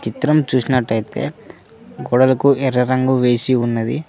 చిత్రం చూసినట్టు అయితే గోడలకు ఎర్ర రంగు వేసి ఉన్నది.